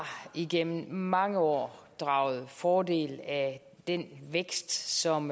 igennem mange år draget fordel af den vækst som